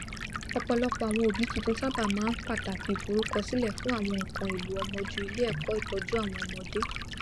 ọpọlọpọ àwon òbí tuntun sáábà máa ń pàtàkì ìforúkọsílẹ fún àwọn nkán èlò ọmọ ju ilé ẹkọ ìtọjú àwọn ọmọdé